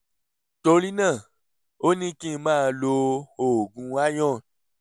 torí náà ó ní kí n máa lo oògùn iron